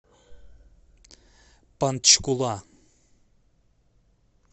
панчкула